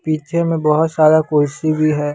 पीछे में बहोत सारा कुर्सी भी है।